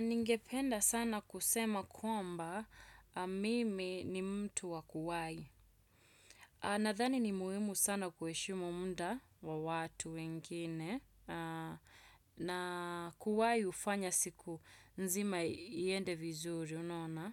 Ningependa sana kusema kwamba, mimi ni mtu wa kuwai. Nadhani ni muhimu sana kuheshimu muda wa watu wengine, na kuwai hufanya siku nzima iende vizuri, unaona.